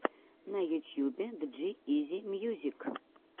на ютьюбе джи изи мьюзик